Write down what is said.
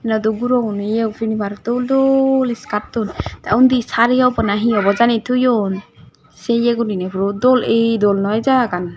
dey du gurogun ye pini bar dol dol iskaton te eni sari obo nahi he obo jeni toyon se ye guriney puro dol eh dol noi jagagan.